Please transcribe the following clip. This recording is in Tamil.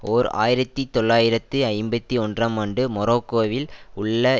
ஓர் ஆயிரத்தி தொள்ளாயிரத்து ஐம்பத்தி ஒன்றாம் ஆண்டு மொரோக்கோவில் உள்ள